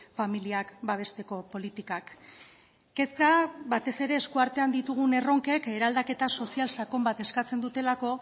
familiak babesteko politikak kezka batez ere eskuartean ditugun erronkek eraldaketa sozial sakon bat eskatzen dutelako